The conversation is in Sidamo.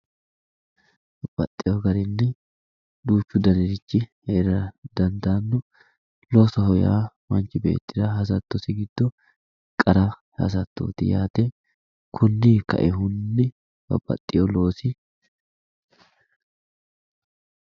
babbaxewo garinni duuchu danirichi heerara dandaanno loosoho yaa manchi beettira hasattosi giddo qara hasattooti yaate konninni kainohunni babbaxewo loosi...